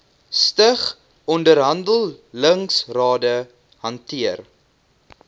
stig onderhandelingsrade hanteer